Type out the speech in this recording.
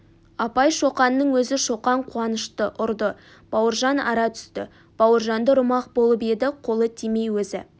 апай шоқанның өзі шоқан қуанышты ұрды бауыржан ара түсті бауыржанды ұрмақ болып еді қолы тимей өзі